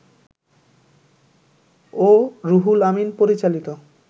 ও রুহুল আমিন পরিচালিত